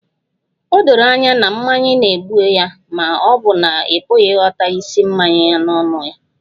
O doro anya na mmanya na-egbu ya ma ọ bụ na ị pụghị ịghọta ísì mmanya si n'ọnụ ya?